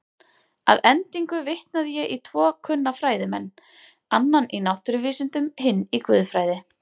Að endingu vitnaði ég í tvo kunna fræðimenn, annan í náttúruvísindum, hinn í guðfræði.